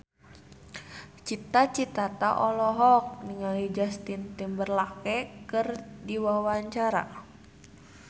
Cita Citata olohok ningali Justin Timberlake keur diwawancara